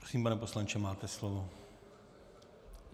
Prosím, pane poslanče, máte slovo.